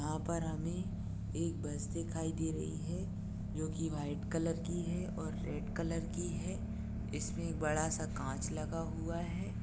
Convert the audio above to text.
यहाँ पर हमे एक बस दिखाई दे रही है जोकि व्हाइट कलर की है और रेड कलर की है ईसमे बड़ासा काँच लगा हुआ है।